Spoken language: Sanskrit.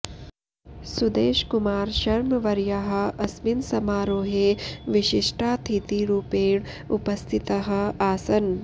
सुदेश कुमार शर्मवर्याः अस्मिन् समारोहे विशिष्टातिथिरूपेण उपस्थिताः आसन्